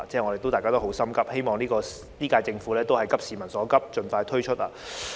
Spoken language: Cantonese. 我希望本屆政府能夠急市民所急，盡快推出報告。